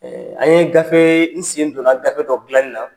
an' ye gafee n sen donna gafe dɔ dilanni na